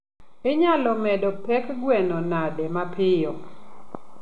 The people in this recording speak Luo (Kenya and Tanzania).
inyalo medo pek gweno nade mapiyo?